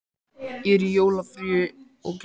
Dúntekjan er um allar eyjar, það er alls staðar varp.